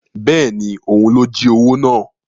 Bẹ́ẹ̀ni, òun ló jí owó náà